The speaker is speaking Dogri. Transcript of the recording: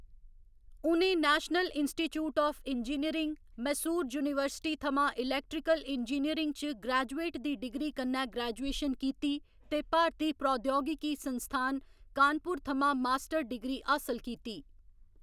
उ'नें national institute of engineering, Mysore university थमां इलेक्ट्रिकल इंजीनियरिंग च ग्रेजुएट दी डिग्री कन्नै ग्रेजुएशन कीती ते भारती प्रौद्योगिकी संस्थान कानपुर थमां मास्टर डिग्री हासल कीती।